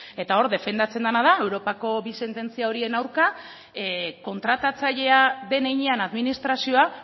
eta hor defendatzen dena da europako bi sententzia horien aurka kontratatzailea den heinean administrazioa